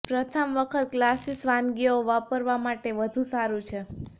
પ્રથમ વખત ક્લાસિક વાનગીઓ વાપરવા માટે વધુ સારું છે